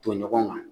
Don ɲɔgɔn kan